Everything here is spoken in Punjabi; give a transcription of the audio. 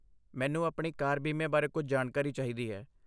ਮੈਨੂੰ ਆਪਣੀ ਕਾਰ ਬੀਮੇ ਬਾਰੇ ਕੁਝ ਜਾਣਕਾਰੀ ਚਾਹੀਦੀ ਹੈ।